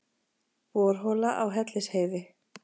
Borhola á Hellisheiði.